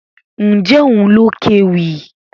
Ǹjẹ́ òun ló kéwì?